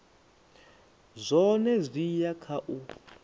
zwone zwi ya kha u